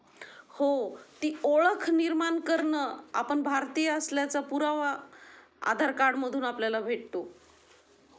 हो ती ओळख निर्माण करणं आपण भारतीय असल्याचा पुरावा आधार कार्ड मधून आपल्याला भेटतो.